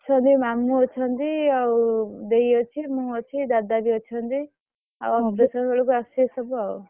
ଅଛନ୍ତି ମାମୁଁ ଅଛନ୍ତି ଆଉ ଦେଇ ଅଛି ମୁଁ ଅଛି ଦାଦା ବି ଅଛନ୍ତି ଆଉ operation ବେଳକୁ ଆସିବେ ସବୁ ଆଉ।